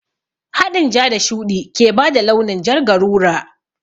Haɗin ja da shuɗi ke bada launin jar garura